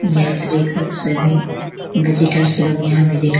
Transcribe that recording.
यात्री लोग सभी विजिटर्स लोग यहाँ विजिट --